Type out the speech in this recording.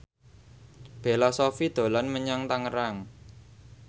Bella Shofie dolan menyang Tangerang